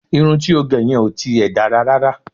Irun ti ó gẹ yẹn ò ti ẹ̀ dára rárá